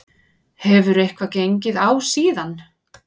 Hefur eitthvað gengið á síðan?